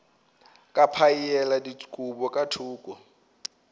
ka phaela dikobo ka thoko